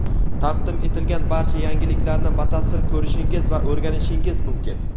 taqdim etilgan barcha yangiliklarni batafsil ko‘rishingiz va o‘rganishingiz mumkin.